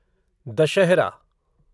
Dussehra